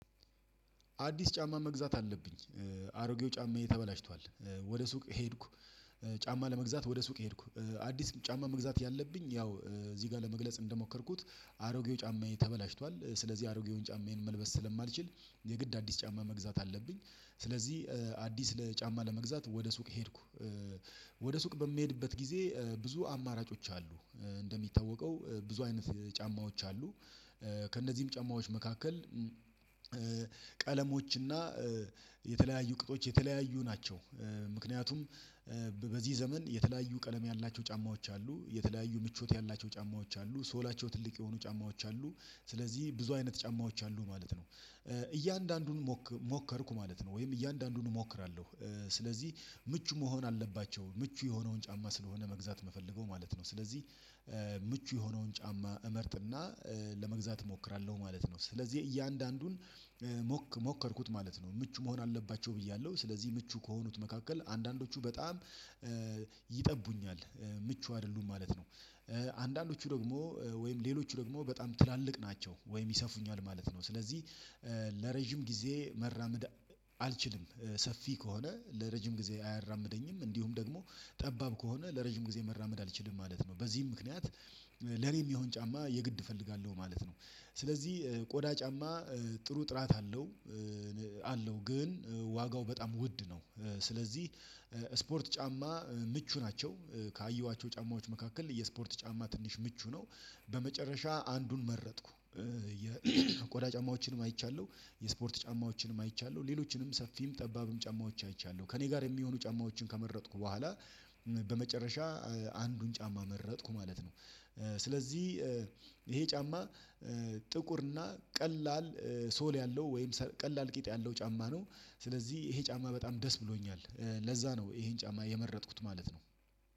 አዲስ ጫማ መግዛት አለብኝ። አሮጌው ጫማ ተበላሽቷል። ወደ ሱቅ ሄድኩ። ጫማ ለመግዛት ወደ ሱቅ ሄድኩ አዲስ ጫማ መግዛት ያለብኝ ያው እዚህ ጋር ለመግለጽ እንደሞከርኩት አሮጌው ጫማዬ ተበላሽቷል ስለዚህ አሮጌውን ጫማዬን መልበስ ስለማልችል የግድ አዲስ ጫማ መግዛት አለብኝ። ስለዚህ አዲስ ለጫማ ለመግዛት ወደ ሱቅ ሄድኩ። ወደ ሱቅ በምሄድበት ጊዜ ብዙ አማራጮች አሉ። እንደሚታወቀው ብዙ አይነት ጫማዎች አሉ። ከእነዚህም ጫማዎች መካከል ቀለሞችና የተለያዩ ቅጦች የተለያዩ ናቸው። ምክንያቱም በዚህ ዘመን የተለያዩ ቀለም ያላቸው ጫማዎች አሉ የተለያዩ ምቾት ያላቸው ጫማዎች አሉ ሶላቸው ትልቅ የሆኑ ጫማዎች አሉ ስለዚህ ብዙ አይነት ጫማዎች አሉ ማለት ነው። እያንዳንዱን ሞከርኩ ማለት ነው ወይም እያንዳንዱን እሞክራለሁ ስለዚህ ምቹ መሆን አለባቸው ምቹ የሆነውን ጫማ ስለሆነ መግዛት የምፈልገው ማለት ነው። ስለዚህ ምቹ የሆነውን ጫማ እመርጥና ለመግዛት እሞክራለሁ ማለት ነው። ስለዚህ እያንዳንዱን ሞከርኩት ማለት ነው። ምቹ መሆን አለባቸው ብያለሁ ስለዚህ ምቹ ከሆኑት መካከል አንዳንዶቹ በጣም ይጠቡኛል ምቹ አይደሉም ማለት ነው። አንዳንዶቹ ደግሞ ወይም ሌሎቹ ደግሞ በጣም ትላልቅ ናቸው ወይም ይሰፉኛል ማለት ነው። ስለዚህ ለረጅም ጊዜ መራመድ አልችልም ሰፊ ከሆነ ለረጅም ጊዜ አያራምደኝም እንዲሁም ደግሞ ጠባብ ከሆነ ለረጅም ጊዜ መራመድ አልችልም ማለት ነው። በዚህም ምክንያት ለኔም የሚሆን ጫማ የግድ እፈልጋለሁ ማለት ነው። ስለዚህ ቆዳ ጫማ ጥሩ ጥራት አለው አለው ግን ዋጋው በጣም ውድ ነው። ስለዚህ ስፖርት ጫማ ምቹ ናቸው ካየኋቸው ጫማዎች መካከል የስፖርት ጫማ ትንሽ ምቹ ነው በመጨረሻ አንዱን መረጥኩ። ጫማዎችንም አይቻለሁ የስፖርት ጫማዎችንም አይቻለሁ ሌሎችንም ሰፊም ጠባብም ጫማዎችንም አይቻለሁ ከእኔ ጋር የሚሆኑ ጫማዎችን ከመረጥኩ በኋላ በመጨረሻ አንዱን ጫማ መረጥኩ ማለት ነው። ስለዚህ ይሄ ጫማ ጥቁር እና ቀላል ሶል ያለው ወይም ቀላል ቂጥ ያለው ጫማ ነው። ስለዚህ ይሄ ጫማ በጣም ደስ ብሎኛል ለዛ ነው ይሄን ጫማ የመረጥኩት ማለት ነው።